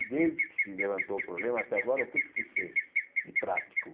E desde que se levantou o problema até agora, o que é que se fez de prático?